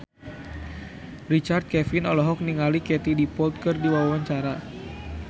Richard Kevin olohok ningali Katie Dippold keur diwawancara